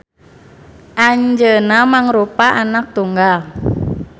Anjeuna mangrupa anak tunggal